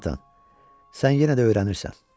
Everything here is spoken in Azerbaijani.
Conatan, sən yenə də öyrənirsən.